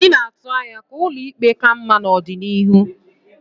Anyị na-atụ anya ka ụlọ ikpe ka mma n'ọdịnihu.